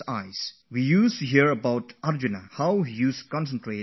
We have all heard of how Arjun focussed his attention on the eye of the bird